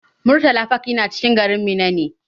Murtala park yana cikin garin Minna ne.